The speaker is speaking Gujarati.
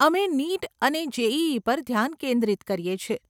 અમે નિટ અને જેઈઈ પર ધ્યાન કેન્દ્રિત કરીએ છે.